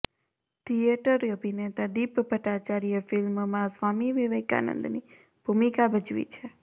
theatre અભિનેતા દીપ ભટ્ટાચાર્યે ફિલ્મમાં સ્વામી વિવેકાનંદની ભૂમિકા ભજવી છે